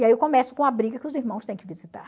E aí eu começo com a briga que os irmãos têm que visitar.